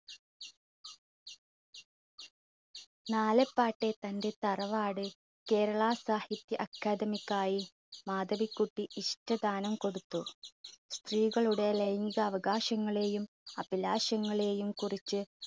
നാലപ്പാട്ടെ തന്റെ തറവാട് കേരള സാഹിത്യ അക്കാദമിക്കായി മാധവികുട്ടി ഇഷ്ടദാനം കൊടുത്തു. സ്ത്രീകളുടെ ലൈംഗീക അവകാശങ്ങളെയും അഭിലാഷങ്ങളെയും കുറിച്ച്